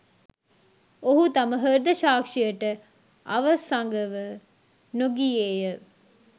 ඔහු තම හෘද සාක්ෂියට අවසඟව නොගියේය